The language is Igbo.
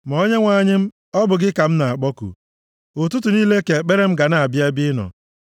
Ma Onyenwe anyị m, ọ bụ gị ka m na-akpọku. Ụtụtụ niile ka ekpere m ga na-abịa nʼebe ị nọ.